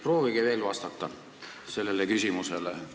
Proovige veel sellele küsimusele vastata.